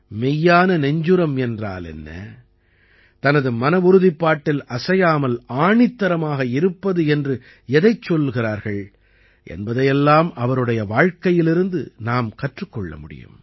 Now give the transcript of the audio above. மெய்யான நெஞ்சுரம் என்றால் என்ன தனது மனவுறுதிப்பாட்டில் அசையாமல் ஆணித்தரமாக இருப்பது என்று எதைச் சொல்கிறார்கள் என்பதையெல்லாம் அவருடைய வாழ்க்கையிலிருந்து நாம் கற்றுக் கொள்ள முடியும்